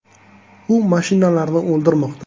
U mashinalarni “o‘ldirmoqda”.